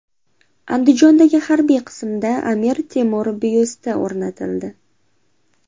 Andijondagi harbiy qismda Amir Temur byusti o‘rnatildi .